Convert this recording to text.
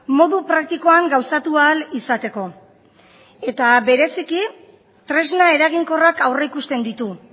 modu praktikoan gauzatu ahal izateko eta bereziki tresna eraginkorrak aurrikusten ditu